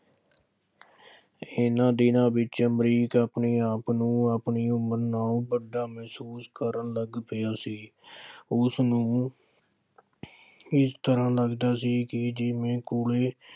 ਇਹਨਾ ਦਿਨਾਂ ਵਿੱਚ ਅਮਰੀਕ ਆਪਣੇ ਆਪ ਨੂੰ ਆਪਣੀ ਉਮਰ ਨਾਲੋਂ ਵੱਡਾ ਮਹਿਸੂਸ ਕਰਨ ਲੱਗ ਪਿਆ ਸੀ। ਉਸਨੂੰ ਇਸ ਤਰ੍ਹਾ ਲੱਗਦਾ ਸੀ ਕਿ ਜਿਵੇਂ ਕੋਲੇ